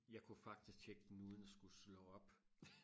jeg kunne faktisk tjekke den uden og skulle slå op